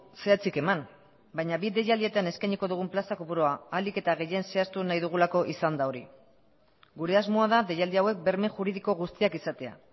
zehatzik eman baina bi deialdietan eskainiko dugun plaza kopurua ahalik eta gehien zehaztu nahi dugulako izan da hori gure asmoa da deialdi hauek berme juridiko guztiak izatea